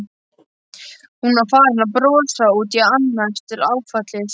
Hún var farin að brosa út í annað eftir áfallið.